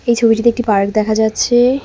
এই ছবিটিতে একটি পার্ক দেখা যাচ্ছে।